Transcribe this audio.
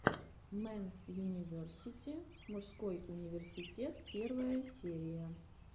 мэнс юниверсити мужской университет первая серия